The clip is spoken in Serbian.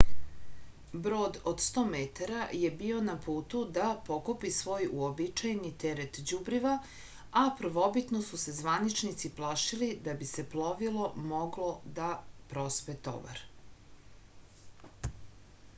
brod od 100 metara je bio na putu da pokupi svoj uobičajeni teret đubriva a prvobitno su se zvaničnici plašili da bi plovilo moglo da prospe tovar